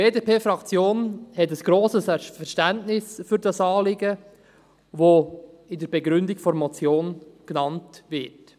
Die BDP-Fraktion hat ein grosses Verständnis für dieses Anliegen, das in der Begründung der Motion genannt wird.